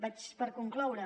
vaig per concloure